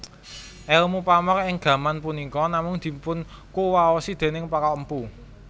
Èlmu pamor ing gaman punika namung dipunkuwaosi déning para mpu